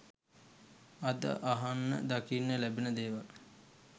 අද අහන්න දකින්න ලැබෙන දේවල්.